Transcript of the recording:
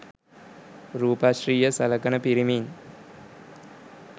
රූපශ්‍රීය සලකන පිරිමින්